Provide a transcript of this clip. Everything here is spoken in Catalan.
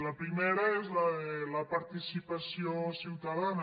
la pri·mera és la de la participació ciutadana